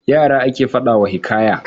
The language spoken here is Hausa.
Yara ake faɗa wa hikaya.